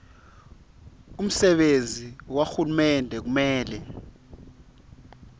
umsebenti wahulumende kumele